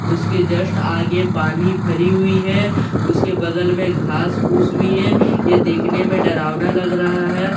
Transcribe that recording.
उसके जस्‍ट आगे पानी भरी हुई है उसके बगल मे घास-फूस भी है यह दि‍खने में डरावना लग रहा है।